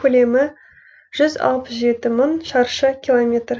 көлемі жүз алпыс жеті мың шаршы километр